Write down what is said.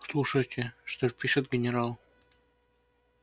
слушайте что пишет генерал